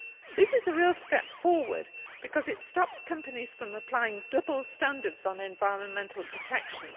This is a real step forward because it stops companies applying double standards on environmental protection.